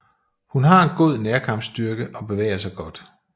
Hun har en god nærkampsstyrke og bevæger sig godt